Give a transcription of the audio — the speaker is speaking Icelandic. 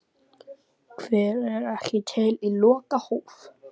Hver er ekki til í lokahóf?